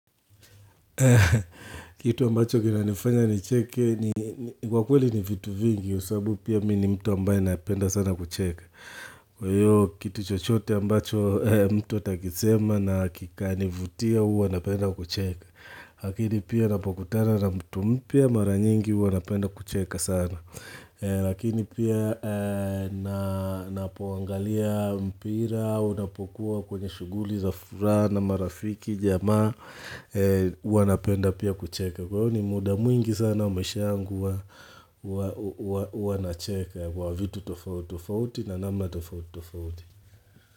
Kitu ambacho kinanifanya nicheke ni kwa kweli ni vitu vingi kwa sababu pia mimi mtu ambaye napenda sana kucheka Kwa hiyo kitu chochote ambacho mtu atakisema na kikanivutia huwa napenda kucheka Lakini pia napokutana na mtu mpya mara nyingi huwa napenda kucheka sana Lakini pia napoangalia mpira unapokuwa kwenye shughuli za furaha na marafiki jamaa wanapenda pia kucheka kwa hiyo ni muda mwingi sana maisha yangu huwa nacheka kwa vitu tofauti tofauti na namna tofauti.